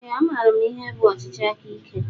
Ee a maara m ihe bụ ọchịchị aka ike.